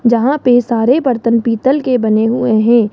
जहां पे सारे बर्तन पीतल के बने हुए हैं।